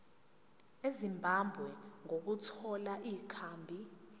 ezimbabwe ukuthola ikhambi